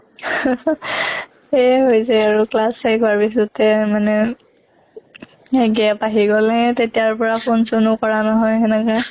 এয়ে হৈছে আৰু class শেষ হোৱাৰ পিছতে মানে gap আহি গʼলে তেতিয়াৰ পৰা phone চনো কৰা নহয় সেনেকে